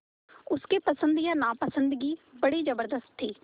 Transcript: उसकी पसंद या नापसंदगी बड़ी ज़बरदस्त थी